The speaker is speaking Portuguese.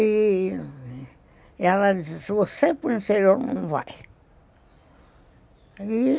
E ela disse, você para o interior não vai.